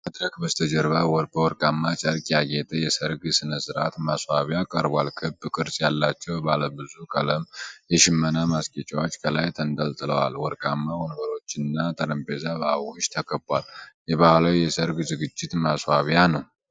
ከመድረክ በስተጀርባ በወርቃማ ጨርቅ ያጌጠ የሠርግ ሥነ ሥርዓት ማስዋቢያ ቀርቧል። ክብ ቅርጽ ያላቸው ባለብዙ ቀለም የሽመና ማስጌጫዎች ከላይ ተንጠልጥለዋል። ወርቃማ ወንበሮችና ጠረጴዛ በአበቦች ተከቧል። የባህላዊ የሠርግ ዝግጅት ማስዋቢያ ነው።